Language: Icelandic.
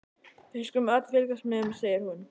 Við skulum öll fylgjast með, segir hún.